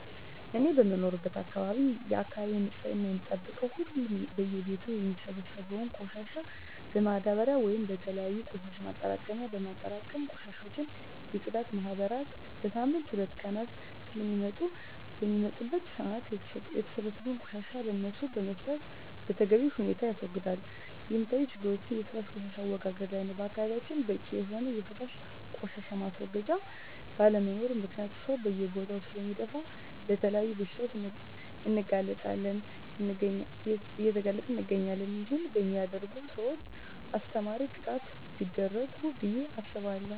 እኔ በምኖርበት አካባቢ የአካባቢውን ንፅህና የምንጠብቀው ሁሉም በየ ቤቱ የሚሰበሰበውን ቆሻሻ በማዳበርያ ወይም በተለያዩ የቆሻሻ ማጠራቀሚያ በማጠራቀም የቆሻሻ የፅዳት ማህበራት በሳምንት ሁለት ቀናት ስለሚመጡ በሚመጡበት ሰአት የተሰበሰበውን ቆሻሻ ለነሱ በመስጠት በተገቢ ሁኔታ ያስወግዳሉ። የሚታዪ ችግሮች የፈሳሽ ቆሻሻ አወጋገድ ላይ ነው በአካባቢያችን በቂ የሆነ የፈሳሽ ቆሻሻ ማስወገጃ ባለመኖሩ ምክንያት ሰው በየቦታው ስለሚደፍ ለተለያዩ በሽታዎች እየተጋለጠን እንገኛለን ይህን በሚያደርጉ ሰውች አስተማሪ ቅጣቶች ቢደረጉ ብየ አስባለሁ።